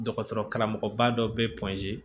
Dɔgɔtɔrɔ karamɔgɔba dɔ bɛ